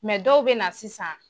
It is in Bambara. dɔw bɛ na sisan